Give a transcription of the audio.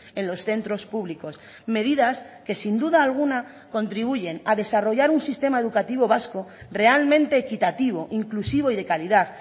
en los centros públicos medidas que sin duda alguna contribuyen a desarrollar un sistema educativo vasco realmente equitativo inclusivo y de calidad